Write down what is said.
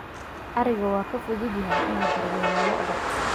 ariga waa ka fududahay in la daryeelo lo'da